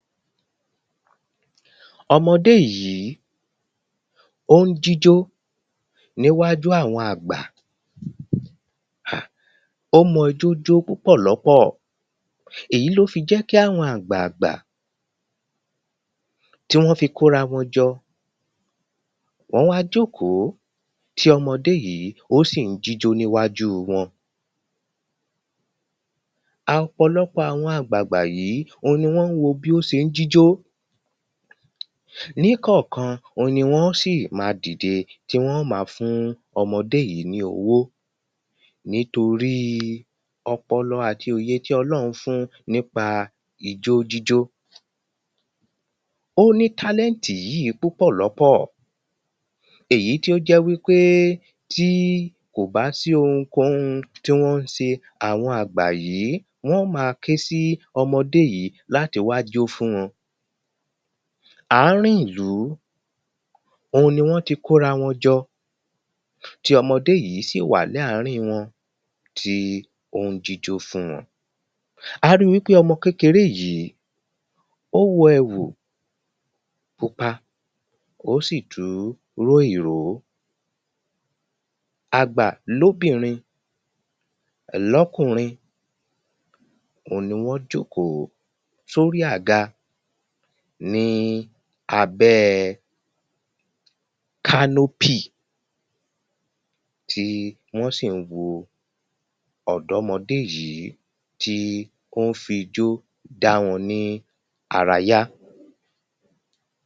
Ọmọdé yìí ó ń jíjó níwájú àwọn àgbà O mọ ijó jó púpọ̀lọ́pọ̀ọ̀ Èyí ni ó fi jẹ́ kí àwọn àgbààgbà tí wọ́n fi kó ara wọn jọ Wọ́n wá jókòó tí ọmọdé yìí ó si ń jíjó níwájú wọn Ọ̀pọ̀lọpọ̀ àwọn àgbààgbà yìí òhun wọ́n ń wo bí ó ṣe ń jíjó Níkọ̀ọ̀kan òhun ni wọ́n óò sì ma dìde tí wọ́n óò ma fún ọmọdé yìí ní owó nítorí ọpọlọ àtí òye tí ọlọ́run fún un nípa ijó jíjó O ní talent yìí púpọ̀lọ́pọ̀ Èyí tí ó jẹ́ wípé tí kò bá sí ounkóun tí wọ́n ń ṣe àwọn àgbà yìí wọ́n óò ma ké sí ọmọdé yìí láti wá jó fún wọn Àárín ìlú òun ni wọ́n ti kó ara wọn jọ tí ọmọdé yìí sì wà ní àárín wọn tí ó ń jíjó fún wọn A ri wípé ọmọ kékeré yìí o wọ ẹ̀wù pupa ó sì tú ró ìró Àgbà ní obìnrin ní ọkùnrin òhun ni wọn jókòó sí orí àga ní abẹ́ẹ canopy tí wọ́n sì ń wo ọ̀dọ́mọdé yìí tí ó ń fi ijó dá wọn ní ara yá